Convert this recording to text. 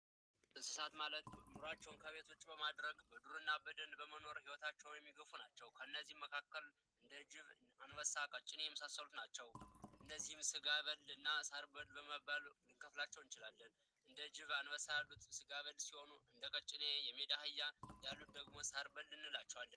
የዱር እንስሳት ማለት ኑሯቸውን ከቤት ውጪ በማድረግ በዱር ና በደን በመኖር ህይወታቸውን የሚገፉ ናቸው ከነዚህም መካከል እንደ ጅብ አንበሳ ቀጭኔ የመሳሰሉት ናቸው ። እነዚህ ስጋ በል ና ሳር በል በማለት ልንከፍላቸው እንችላለን። እንደ ጅብ አንበሳ ያሉት ስጋ በል ሲሆኑ እንደ ቀጭኔ የሜዳ አህያ ያሉትን ደግሞ ሳር በል እንላቸዋለን